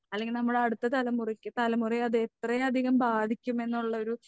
അല്ലെങ്കിൽ നമ്മുടെ അടുത്ത തലമുറയ്ക്ക് തലമുറയെ അത് എത്രയധികം ബാധിക്കുമെന്നുള്ളൊരു